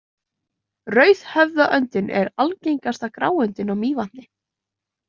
Rauðhöfðaöndin er algengasta gráöndin á Mývatni.